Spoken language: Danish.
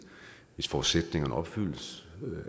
hvis forudsætningerne opfyldes